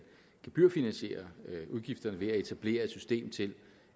gebyrfinansiere udgifterne ved at etablere et system til